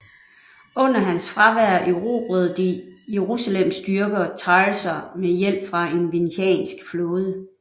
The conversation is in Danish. Under hans fravær erobrede de Jerusalems styrker Tyusr med hjælp fra en venetiansk flåde